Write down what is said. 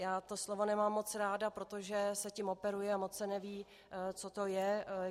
Já to slovo nemám moc ráda, protože se tím operuje a moc se neví, co to je.